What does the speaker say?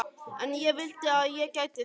En ég vildi að ég gæti það.